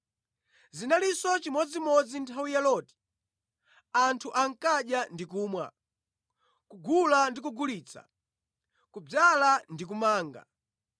“Zinalinso chimodzimodzi nthawi ya Loti. Anthu ankadya ndi kumwa, kugula ndi kugulitsa, kudzala ndi kumanga.